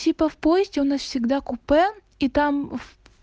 типа в поезде у нас всегда купе и там